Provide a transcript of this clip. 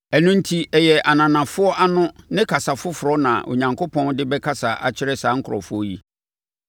Ɛno enti, ɛyɛ ananafoɔ ano ne kasa foforɔ na Onyankopɔn de bɛkasa akyerɛ saa nkurɔfoɔ yi.